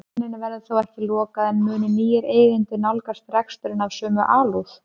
Versluninni verður þó ekki lokað en munu nýir eigendur nálgast reksturinn af sömu alúð?